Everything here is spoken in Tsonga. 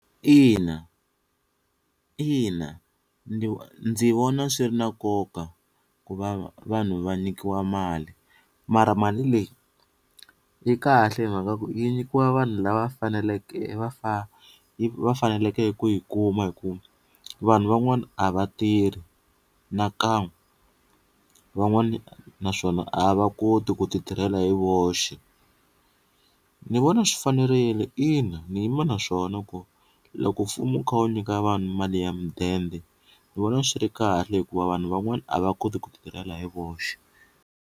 Ina ina ndi ndzi vona swi ri na nkoka ku va vanhu va nyikiwa mali mara mali leyi yi kahle hi mhaka ku yi nyikiwa vanhu lava faneleke va va faneleke ku yi kuma hi ku vanhu van'wana a va tirhi nakan'we van'wani naswona a va koti ku ti tirhela hi voxe, ni vona swi fanerile ina ni yima na swona ku loko mfumo wu kha wu nyika vanhu mali ya mudende ni vona swi ri kahle hikuva vanhu van'wana a va koti ku ti tirhela hi voxe.